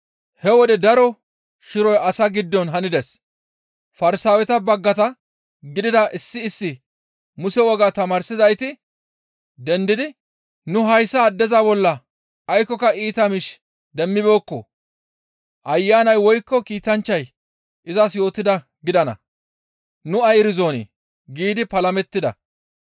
He wode daro shiroy asaa giddon hanides; Farsaaweta baggata gidida issi issi Muse wogaa tamaarzayti dendidi, «Nu hayssa addeza bolla aykkoka iita miish demmibeekko; ayanay woykko kiitanchchay izas yootidaa gidana; nu ay erizonii?» giidi palamettida.